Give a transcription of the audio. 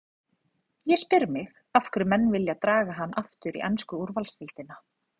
Ég spyr mig af hverju menn vilja draga hann aftur í ensku úrvalsdeildina?